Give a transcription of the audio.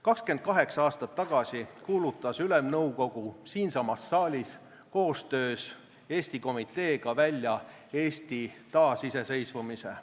28 aastat tagasi kuulutas Ülemnõukogu siinsamas saalis koostöös Eesti Komiteega välja Eesti taasiseseisvumise.